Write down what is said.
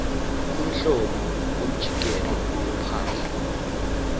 uhlobo lomjikelo wophahla